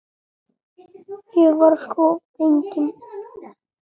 Ég var sko fegin!